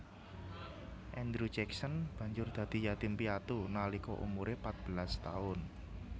Andrew Jackson banjur dadi yatim piatu nalika umuré patbelas taun